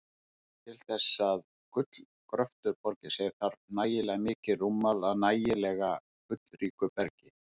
Til þess að gullgröftur borgi sig þarf nægilega mikið rúmmál af nægilega gullríku bergi.